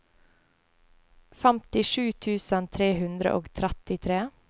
femtisju tusen tre hundre og trettitre